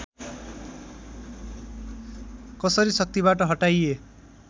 कसरी शक्तिबाट हटाइए